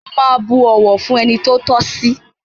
Mo máa bu ọ̀wọ̀ fún ẹni tó tọ́ sí.